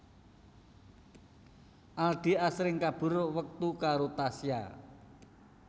Aldi asring kabur wektu karo Tasya